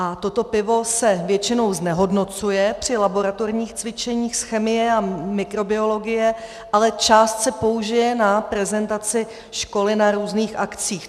A toto pivo se většinou znehodnocuje při laboratorních cvičeních z chemie a mikrobiologie, ale část se použije na prezentaci školy na různých akcích.